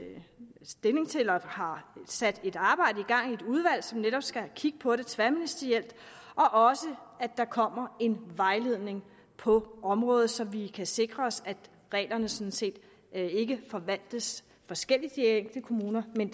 stilling til det og har sat et arbejde i gang i et udvalg som netop skal kigge på det tværministerielt og også at der kommer en vejledning på området så vi kan sikre os at reglerne sådan set ikke forvaltes forskelligt i de enkelte kommuner men